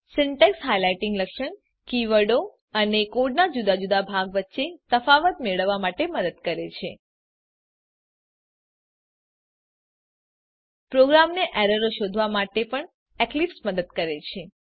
syntax highlighting લક્ષણ કીવર્ડો અને કોડનાં જુદા જુદા ભાગ વચ્ચે તફાવત મેળવવા માટે મદદ કરે છે પ્રોગ્રામરને એરરો શોધવા માટે પણ એક્લીપ્સ મદદ કરે છે